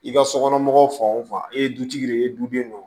I ka sokɔnɔmɔgɔw fan o fan e ye dutigi de ye e duden don